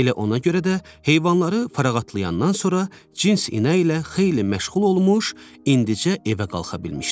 Elə ona görə də heyvanları fərağatlayandan sonra cins inəyi ilə xeyli məşğul olmuş, indicə evə qalxa bilmişdi.